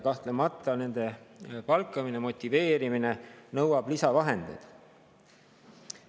Kahtlemata nõuab nende palkamine ja motiveerimine lisavahendeid.